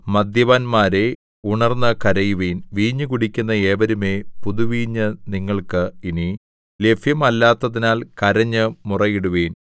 മദ്യപന്മാരേ ഉണർന്നു കരയുവിൻ വീഞ്ഞു കുടിക്കുന്ന ഏവരുമേ പുതുവീഞ്ഞ് നിങ്ങൾക്ക് ഇനി ലഭ്യമല്ലാത്തതിനാൽ കരഞ്ഞ് മുറയിടുവിൻ